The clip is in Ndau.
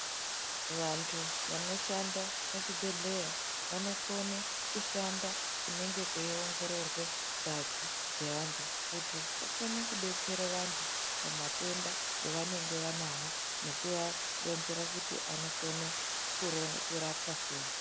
Vanthu vanoshanda pachibhedhleya, vanokone kushanda kunenge kweiongororwe ngazi dzevanthu kuti vakone kudetsere vantu pamatenda evanenge vanawo, nekuvaronzera kuti anokone kurapwa sei.